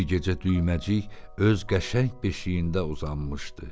Bir gecə Düyməcik öz qəşəng beşiyində uzanmışdı.